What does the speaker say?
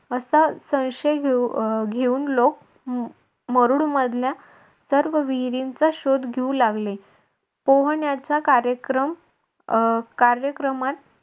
असा संशय घेऊन लोक मरुड मधल्या सर्व विहिरींचा शोध घेऊ लागले. पोहण्याचा कार्यक्रम अं कार्यक्रमात